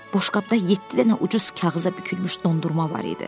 Boşqabda yeddi dənə ucuz kağıza bükülmüş dondurma var idi.